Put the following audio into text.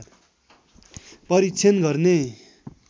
परीक्षण गर्ने